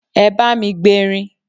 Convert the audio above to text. Ẹ bá mi gberin!